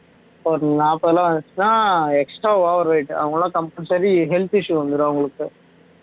நாற்பதுலாம் வந்துச்சுன்னா extra overweight அவங்க எல்லாம் compulsory health issue வந்துரும் அவங்களுக்கு